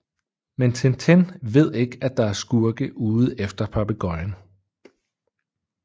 Men Tintin ved ikke at der er skurke ude efter papegøjen